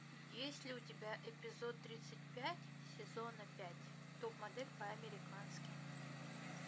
есть ли у тебя эпизод тридцать пять сезона пять топ модель по американски